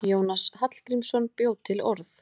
Jónas Hallgrímsson bjó til orð.